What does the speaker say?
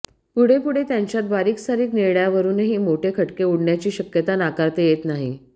पुढेपुढे त्यांच्यात बारीकसारीक निर्णयांवरूनही मोठे खटके उडण्याची शक्यता नाकारता येत नाही